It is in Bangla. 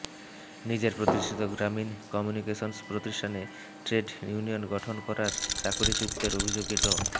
নিজের প্রতিষ্ঠিত গ্রামীণ কমিউনিকেশনস প্রতিষ্ঠানে ট্রেড ইউনিয়ন গঠন করায় চাকরিচ্যুতের অভিযোগে ড